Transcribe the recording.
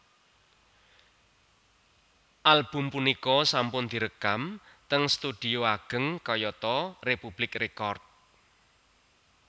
Album punika sampun dirékam ting studhio agéng kayata Republic Record